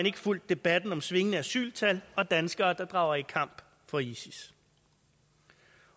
ikke fulgt debatten om svingende asyltal og danskere der drager i kamp for isis